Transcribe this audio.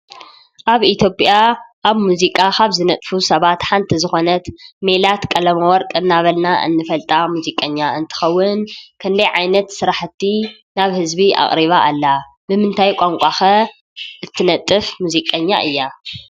ኣብ ኢትዮጵያ ኣብ ሙዚቃ ካብ ዝነጥፉ ሰባት ሓንቲ ዝኾነት ሜላት ቀለመ ወርቂ እናበልና እንፈልጣ ሙዚቀኛ እንትትኸውን ይ ክንደይ ዓይነት ስራሕቲ ናብ ሕዝቢ ኣቕሪባ ኣላ? ምምንታይ ቛንቋ ኸ እትነጥፍ ሙዚቀኛ እያ?